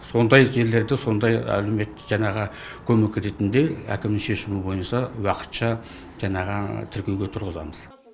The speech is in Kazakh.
сондай жерлерде сондай әлеуметтік жаңағы көмек ретінде әкімнің шешуі бойынша уақытша жанағы тіркеуге тұрғызамыз